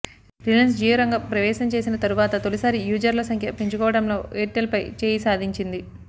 Reliance Jio రంగ ప్రవేశం చేసిన తర్వాత తొలిసారి యూజర్ల సంఖ్య పెంచుకోవడంలో ఎయిర్ టెల్ పై చేయి సాధించింది